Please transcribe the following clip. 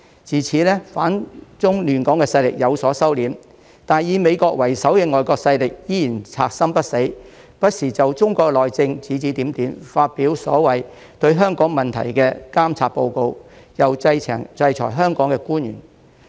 自此，反中亂港的勢力有所收斂，但以美國為首的外國勢力依然賊心不死，不時就中國內政指指點點，發表所謂對香港問題的監察報告，又制裁香港官員。